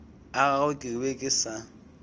agagwe ke be ke sa